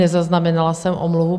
Nezaznamenala jsem omluvu.